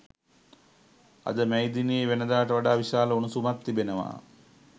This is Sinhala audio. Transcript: අද මැයි දිනයේ වෙනදාට වඩා විශාල උණුසුමක් තිබෙනවා